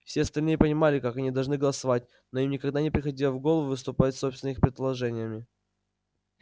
все остальные понимали как они должны голосовать но им никогда не приходило в голову выступить с собственными предложениями